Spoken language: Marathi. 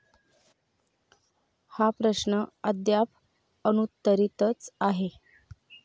हा प्रश्न अद्याप अनुत्तरीतच आहे.